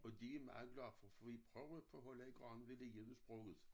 Og de er meget glade for fordi prøver på at lære om vil det hjælpe sproget